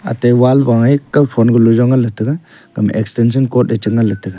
ate wall bang ai kam extension cord che ngan le te a.